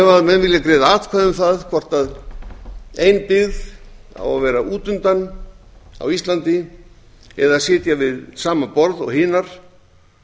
ef menn vilja greiða atkvæði um það hvort ein byggð á að vera út undan á íslandi eða sitja við sama borð og hinar